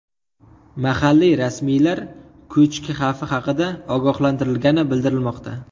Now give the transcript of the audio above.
Mahalliy rasmiylar ko‘chki xavfi haqida ogohlantirilgani bildirilmoqda.